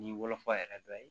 Ni wolofa yɛrɛ dɔ ye